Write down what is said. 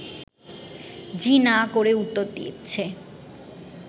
জি না করে উত্তর দিচ্ছে